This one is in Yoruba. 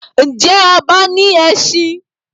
Ǹjẹ́ ọba ní ẹṣin?